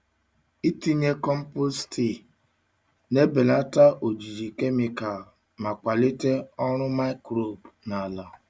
Itinye compost tii na-ebelata ojiji kemịkalụ ma kwalite ọrụ microbe na ala.